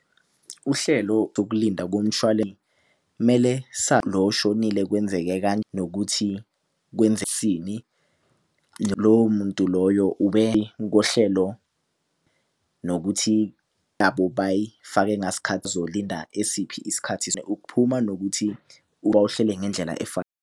Uhlelo lokulinda mele oshonile kwenzeke nokuthi lowo muntu loyo kohlelo nokuthi bayifake uzolinda esiphi isikhathi ukuphuma nokuthi uhlele ngendlela .